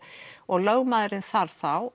og lögmaðurinn þarf þá